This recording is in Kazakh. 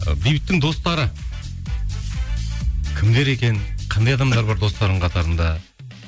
і бейбіттің достары кімдер екен қандай адамдар бар достарыңның қатарында